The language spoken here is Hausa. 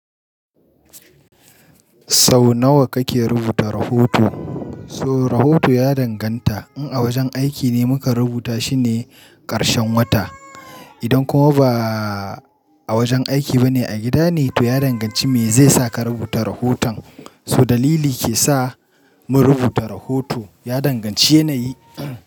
Sau nawa kake rubuta rahoto? So rahoto ya danganta in a wajen aiki ne mukan rubuta shine ƙarshen wata. Idan kuma ba a wajen aiki ba ne a gida ne, to ya danganci me zai sa ka rubuta rahoton. So dalili ke sa mu rubuta rahoto ya danganci yanayi.